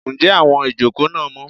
njé awón ìjokò na mó?